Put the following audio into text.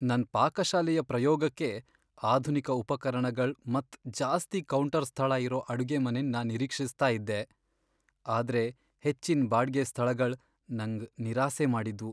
ನನ್ ಪಾಕಶಾಲೆಯ ಪ್ರಯೋಗಕ್ಕೆ ಆಧುನಿಕ ಉಪಕರಣಗಳ್ ಮತ್ ಜಾಸ್ತಿ ಕೌಂಟರ್ ಸ್ಥಳ ಇರೋ ಅಡುಗೆಮನೆನ್ ನಾನ್ ನಿರೀಕ್ಷಿಸ್ತ ಇದ್ದೆ, ಆದ್ರೆ ಹೆಚ್ಚಿನ್ ಬಾಡ್ಗೆ ಸ್ಥಳಗಳ್ ನಂಗ್ ನಿರಾಸೆ ಮಾಡಿದ್ವು.